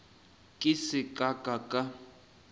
ke se ka ka ka